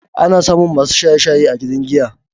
Ana samun masu shaye-shaye a gidan giya.